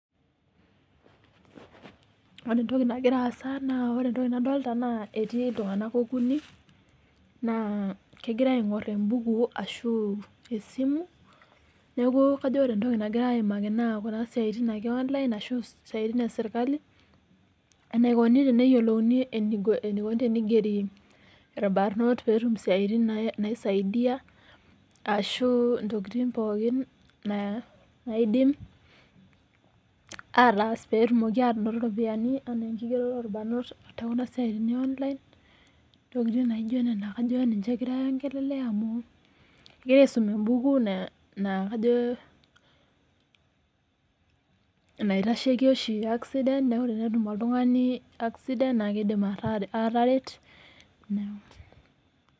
Ore entoki nagira aasa naa ore entoki nadolta naa etii iltung'anak okuni, naa kegira aing'or ebuku ashu esimu, neeku kajo ore entoki nagira aimaki naa kuna siaitin ake e online ashu siaitin esirkali, enaikoni teneyiolouni enikoni tenigeri irbanot petum isiaitin naisaidia, ashu intokiting pookin naidim ataas petumoki anoto iropiyiani, anaa enkigeroto orbanot tekuna siaitin e online, intokiting naijo nena kajo ninche egirai ai ongelelea amu egira aisum ebuku na kajo enaitasheki oshi sidan neku tenetum oltung'ani accident, na kidim ataret.